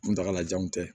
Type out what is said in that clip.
Kuntagalajanw tɛ